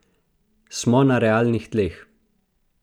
Kristan: "Smo na realnih tleh.